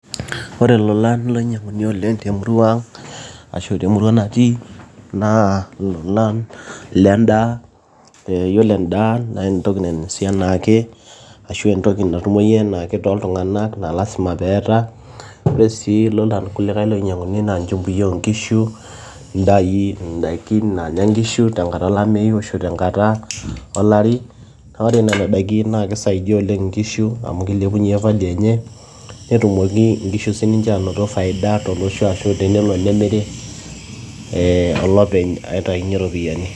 ore ilolan loinyiang'uni oleng temurua ang ashu temurua natii naa ilolan lendaa yiolo endaa naa entoki nainosi anaake ashu entoki natumoi enaake toltung'anak naa lasima peeta ore sii ilolan kulikae loinyiang'uni naa inchumbi oonkishu indaikin naanya inkishu tenkata olameyu ashu tenkata olari naa ore nana daiki naa kisaidia oleng inkishu amu kilepunyie value enye netumoki inkishu sininche anoto faida tolosho ashu tenelo nemiri eh, olopeny aitainyie iropiyiani.